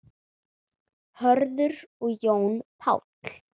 Hörður og Jón Páll.